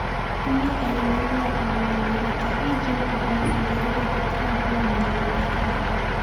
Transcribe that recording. Atumia eri marauga ati mũmemerekia E.Jean Caroll amerire ati Trump niamũnyitire kiahinya.